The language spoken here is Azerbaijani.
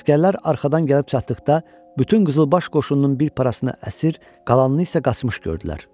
Əsgərlər arxadan gəlib çatdıqda, bütün qızılbaş qoşununun bir parasını əsir, qalanını isə qaçmış gördülər.